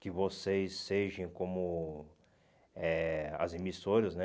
Que vocês sejam como eh as emissoras, né?